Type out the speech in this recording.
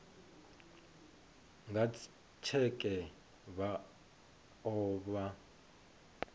nga tsheke vha o vha